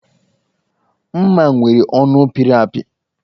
M̀má nwere ọnụ pịrị apị